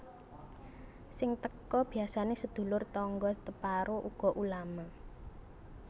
Sing teka biasane sedulur tangga teparo uga ulama